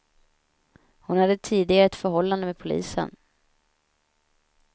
Hon hade tidigare ett förhållande med polisen.